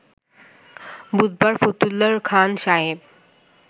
বুধবার ফতুল্লার খান সাহেব